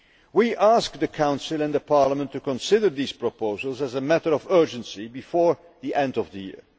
We ask the Council and Parliament to consider these proposals, as a matter of urgency, before the end of the year.